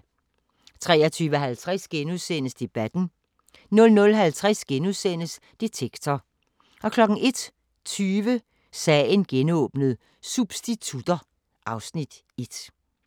23:50: Debatten * 00:50: Detektor * 01:20: Sagen genåbnet: Substitutter (Afs. 1)